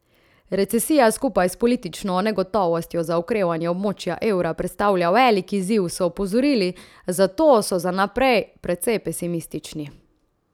Recesija skupaj s politično negotovostjo za okrevanje območja evra predstavlja velik izziv, so opozorili, zato so za naprej precej pesimistični.